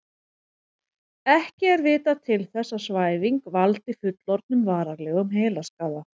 Ekki er vitað til þess að svæfing valdi fullorðnum varanlegum heilaskaða.